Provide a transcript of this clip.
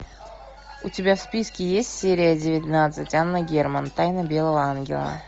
у тебя в списке есть серия девятнадцать анна герман тайна белого ангела